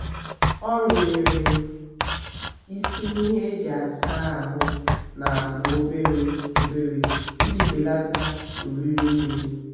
ọ rụnyere isi ihe e ji a saa ahụ na-agba obere obere iji belata oriri mmiri